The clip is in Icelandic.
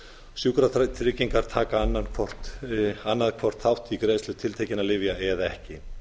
sjúkratryggingar taka annað hvort þátt í greiðslu tiltekinna lyfja eða ekki